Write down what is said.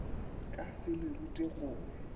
ka se le rute go